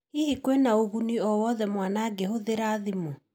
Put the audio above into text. Hihi kwĩna ũguni owothe mwana angĩhũthĩra thimũ?